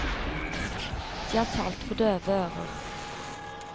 De har talt for døve ører.